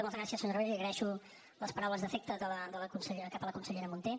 moltes gràcies senyor rabell li agraeixo les paraules d’afecte cap a la consellera munté